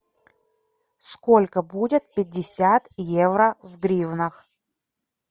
сколько будет пятьдесят евро в гривнах